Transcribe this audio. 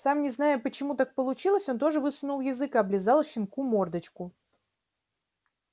сам не зная почему так получилось он тоже высунул язык и облизал щенку мордочку